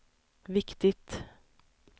viktigt